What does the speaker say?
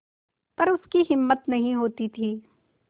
पर उसकी हिम्मत नहीं होती थी